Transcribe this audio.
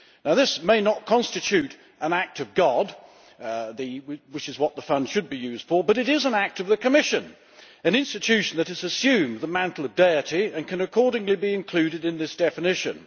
This may not constitute an act of God, which is what the fund should be used for, but it is an act of the Commission an institution that has assumed the mantle of deity and can accordingly be included in this definition.